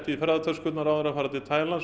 í ferðatöskurnar áður en þeir fara til Taílands